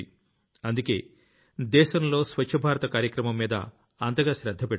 అందుకే దేశంలో స్వచ్ఛ భారత కార్యక్రమంమీద అంతగా శ్రద్ధ పెడుతున్నాం